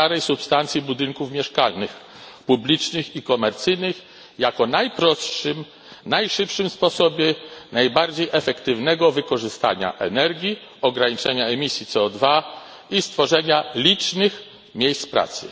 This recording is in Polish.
starej substancji budynków mieszkalnych, publicznych i komercyjnych, jako najprostszym, najszybszym sposobie najbardziej efektywnego wykorzystania energii, ograniczenia emisji CO2 i stworzenia licznych miejsc pracy.